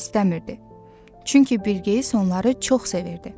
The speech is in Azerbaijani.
Çünki Bilqeyis onları çox sevirdi.